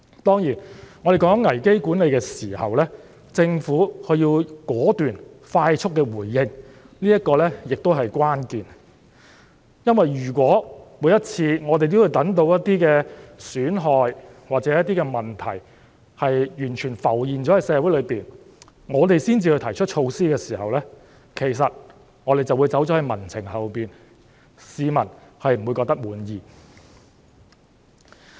當然，要有效管理危機，政府必須果斷和快速回應，這同樣是關鍵，因為如果每次也要等到損害或問題在社會上完全浮現後才提出措施，我們便會走在民情後面，市民不會感到滿意。